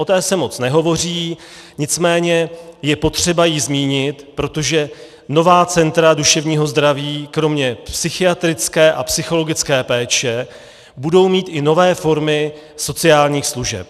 O té se moc nehovoří, nicméně je potřeba ji zmínit, protože nová centra duševního zdraví kromě psychiatrické a psychologické péče budou mít i nové formy sociálních služeb.